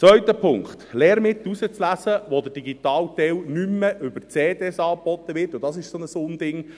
Zweiter Punkt: Lehrmittel auszuwählen, bei denen der digitale Teil nicht mehr über CDs angeboten wird – auch dies ist so ein Unding;